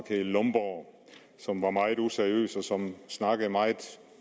hedder lomborg og som var meget useriøs og snakkede meget